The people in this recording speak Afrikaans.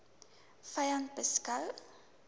u vyand beskou